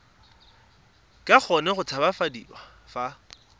ka kgona go tshabafadiwa fa